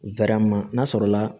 n'a sɔrɔla